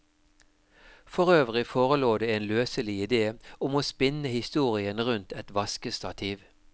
For øvrig forelå det en løselig ide om å spinne historien rundt et vaskestativ.